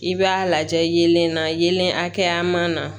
I b'a lajɛ yelen na yelen hakɛya man na